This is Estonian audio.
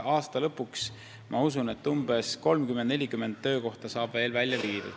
Aasta lõpuks, ma usun, saab veel 30–40 töökohta sinna viidud.